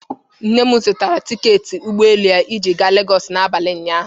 Nne m zụtara tiketi ụgbọelu ya iji gaa Legọsị n'abalị ụnyaahụ.